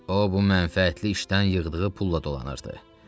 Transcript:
O bu mənfəətli işdən yığdığı pulla dolanırdı.